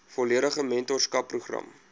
volledige mentorskap program